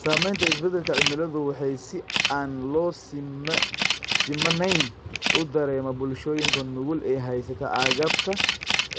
Saamaynta isbeddelka cimiladu waxa si aan loo simanayn u dareema bulshooyinka nugul ee haysta agabka